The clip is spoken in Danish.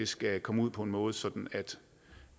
skal komme ud på en måde sådan